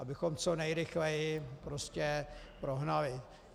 Abychom co nejrychleji prostě prohnali.